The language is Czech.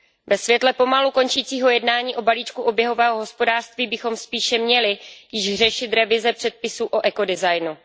Ve světle pomalu končícího jednání o balíčku oběhového hospodářství bychom spíše měli již řešit revize předpisů o ekodesignu.